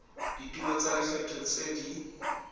dituelo tsa lekgetho tse di